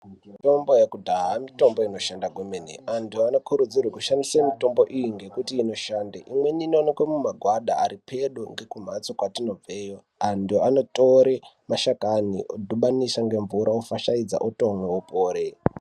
Mitombo yekudhaya mitombo inoshanda kwemene. Antu anokurudzirwe kushandise mitombo iyi ngekuti inoshande. Imweni inoonekwe mumagwada ari pedo ngekumhatso kwetinobveyo, antu vanotore mashakani vodhibanisa ngemvura ofashaidza otomwe opore.